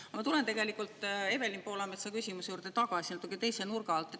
Aga ma tulen tegelikult Evelin Poolametsa küsimuse juurde tagasi, natuke teise nurga alt.